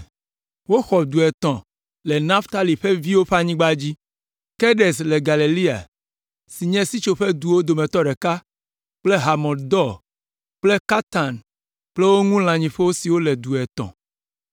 Woxɔ du etɔ̃ le Naftali ƒe viwo ƒe anyigba dzi: Kedes le Galilea si nye Sitsoƒeduwo dometɔ ɖeka kple Hamot Dor kple Kartan kple wo ŋu lãnyiƒewo siwo le du etɔ̃.